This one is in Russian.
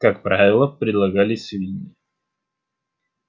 как правило предлагали свиньи